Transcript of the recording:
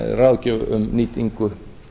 ráðgjöf um nýtingu